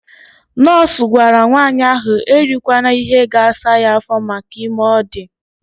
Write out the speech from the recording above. Nọọsụ gwara nwanyị ahụ erikwana ihe ga-asa ya afọ maka ime ọ dị.